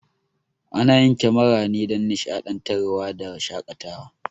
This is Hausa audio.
Ana yin kemara ne dan nishaɗantar wa da shakatawa